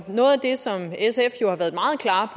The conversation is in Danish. det som sf jo har været meget klare